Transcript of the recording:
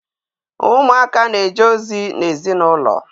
Ụmụaka na-eje ozi n'ezinaụlọ.